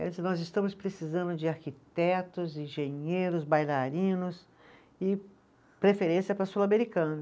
Ela disse, nós estamos precisando de arquitetos, engenheiros, bailarinos, e preferência para sul-americano.